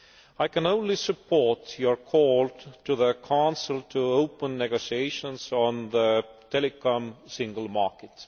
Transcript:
I can only support your call to the Council to open negotiations on the telecoms single market.